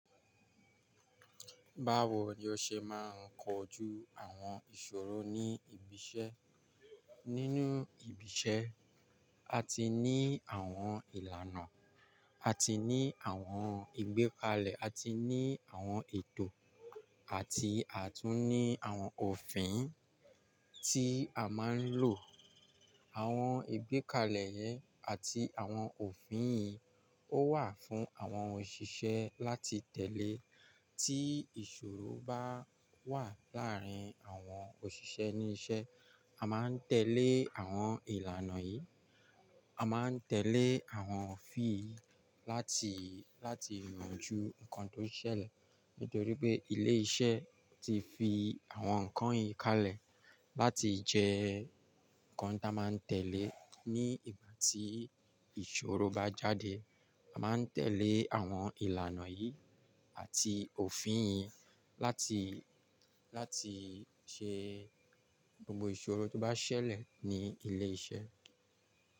Báwo ni ọ ṣe máa ń kojú àwọn ìṣòro ní ibiṣẹ́? Nínú ibiṣẹ́, a ti ní àwọn ìlànà, a ti ní àwọn ìgbékalẹ̀, a ti ní àwọn ètò àti àtún ní àwọn òfin tí a máa ń lò. Àwọn ìgbékalẹ̀ yẹn àti àwọn òfin yìí ó wà fún àwọn òṣìṣẹ́ láti tẹ̀lé tí ìṣòro bá wà láàárín àwọn òṣìṣẹ́ ní iṣẹ́. A máa ń tẹ̀lé àwọn ìlànà yìí, a máa ń tẹ̀lé àwọn òfin yìí láti, láti yanjú nǹkan tó ṣẹlẹ̀ nítorí pé ilé iṣẹ́ ti fi àwọn nǹkan yìí kalẹ̀ láti jẹ́ nǹkan tí a máa ń tẹ̀lé ní ìgbà tí ìṣòro bá jáde. A máa ń tẹ̀lé àwọn ìlànà yìí àti òfin yìí láti, láti ṣe gbogbo ìṣòro tó bá ṣẹlẹ̀ ní ilé iṣẹ́.